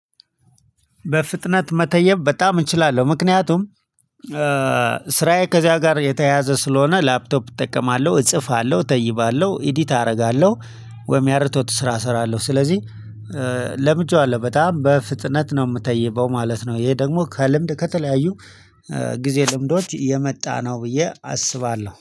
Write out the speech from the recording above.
በፍጥነት መተየብ በጣም እችላለው ምክንያቱም ስራዬ ከዚያ ጋር የተያያዘ ስለሆነ ላፕቶፕ እጠቀማለሁ እጽፋለሁ እተይባለሁ ኢዲት አደርጋለሁ። ወይም ያርቶት ስራ እሰራለሁ ስለዚህ ለምጅዋለው በጣም በፍጥነት ነው የምተይበው ማለት ነው። ይሄ ደግሞ ከልምድ ከተለያዩ ጊዜ ልምዶች የመጣ ነው። ብዬ አስባለሁ